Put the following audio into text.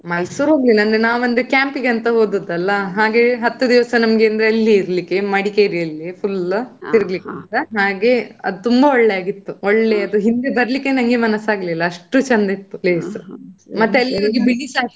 ಮೈಸೂರು ಹೋಗ್ಲಿಲ್ಲ ನಾವ್ ಅಂದ್ರೆ camp ಗೆ ಅಂತ ಹೋದಾದ್ ಅಲ್ಲ. ಹಾಗೆ ಹತ್ತು ದಿವಸ ಅಲ್ಲೇ ಇರ್ಲಿಕ್ಕೆ ಮಡಿಕೇರಿ ಅಲ್ಲೇ full ತಿರ್ಗ್ಲಿಕ್ಕೆ. ಅದು ತುಂಬಾ ಒಳ್ಳೆದಾಗಿತ್ತು ಒಳ್ಳೆಯದು ಹಿಂದೆ ಬರ್ಲಿಕ್ಕೆ ನಂಗೆ ಮನಸ್ಸಾಗ್ಲಿಲ್ಲ ಅಷ್ಟು ಚಂದ ಇತ್ತು place . ಮತ್ತೆ ಅಲ್ಲಿ ಹೋಗಿ ಬಿಳಿಸ ಆಗ್ತಾರೆ.